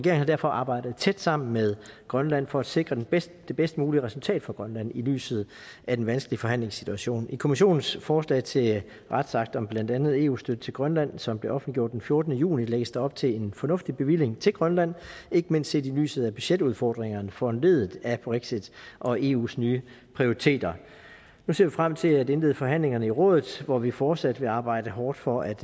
har derfor arbejdet tæt sammen med grønland for at sikre det bedste det bedste mulige resultat for grønland i lyset af den vanskelige forhandlingssituation i europa kommissionens forslag til retsakter om blandt andet eu støtte til grønland som blev offentliggjort den fjortende juni lægges der op til en fornuftig bevilling til grønland ikke mindst set i lyset af budgetudfordringerne foranlediget af brexit og eus nye prioriteter nu ser vi frem til at indlede forhandlingerne i rådet hvor vi fortsat vil arbejde hårdt for at